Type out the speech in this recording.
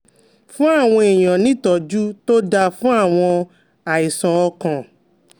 Fún àwọn èèyàn ní ìtọ́jú tó dáa fún àwọn àìsàn ọkàn